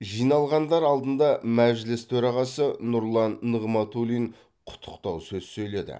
жиналғандар алдында мәжіліс төрағасы нұрлан нығматулин құттықтау сөз сөйледі